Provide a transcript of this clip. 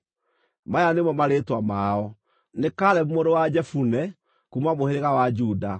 Maya nĩmo marĩĩtwa mao: nĩ Kalebu mũrũ wa Jefune, kuuma mũhĩrĩga wa Juda;